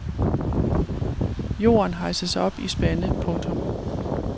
Jorden hejses op i spande. punktum